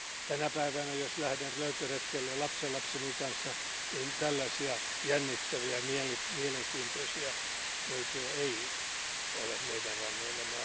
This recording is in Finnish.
Tänä päivänä, jos lähden löytöretkelle lapsenlapseni kanssa, tällaisia jännittäviä ja mielenkiintoisia löytöjä ei ole meidän rannoillamme.